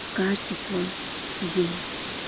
в каждый свой день